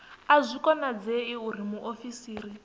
a zwi konadzei uri muofisiri